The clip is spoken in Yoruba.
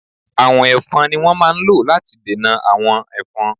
Àwọ̀n Ẹ̀fọn ni wón máa ń lò láti dènà àwọn Ẹ̀fọn.